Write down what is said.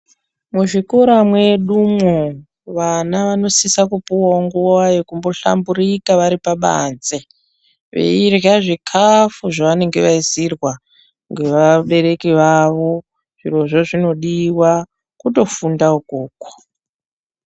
Muzvikora mwedumo vana vanosisa Kupuwawo nguwa yekuhlamburika vari pabanze veirya zvikafu zvavanenge vaisirwa nevabereki vavo zvirozvo zvinodiwa kutofunda ikoko.